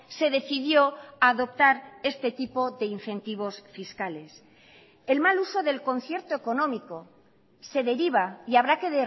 se decidió adoptar este tipo de incentivos fiscales el mal uso del concierto económico se deriva y habrá que